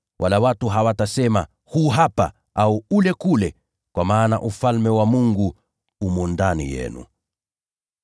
wala watu hawatasema, ‘Huu hapa,’ au ‘Ule kule,’ kwa maana Ufalme wa Mungu umo ndani yenu.”